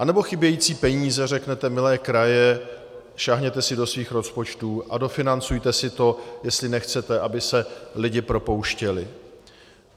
Anebo chybějící peníze - řeknete: milé kraje, sáhněte si do svých rozpočtů a dofinancujte si to, jestli nechcete, aby se lidi propouštěli.